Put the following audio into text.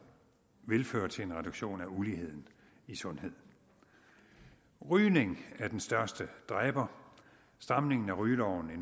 vil føre til en reduktion af uligheden i sundheden rygning er den største dræber stramningen af rygeloven i